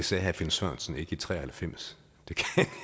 sagde herre finn sørensen ikke i nitten tre og halvfems det